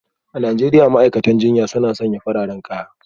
A Najeriya ma'aikatan jinya suna sanya fararen kaya